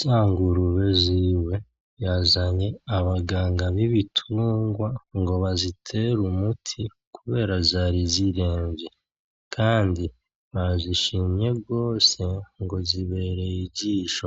Za ngurube ziwe yazanye abaganga b'ibitungwa ngo bazitere umuti kubera zari ziremvye kandi bazishimye gose ngo zibereye ijisho,